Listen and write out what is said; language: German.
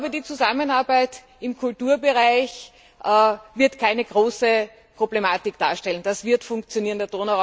Die Zusammenarbeit im Kulturbereich wird kein großes Problem darstellen, das wird funktionieren.